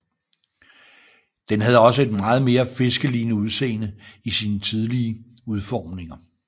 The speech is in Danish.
Den havde også et meget mere fiskelignende udseende i sine tidlige udformninger